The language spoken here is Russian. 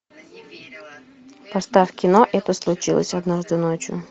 поставь кино это случилось однажды ночью